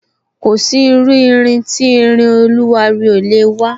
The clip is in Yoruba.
Kò sí iru irin tí irin oluwari ò lè wa